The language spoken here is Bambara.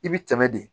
I bi tɛmɛ de